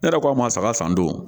Ne yɛrɛ ko ma saga san don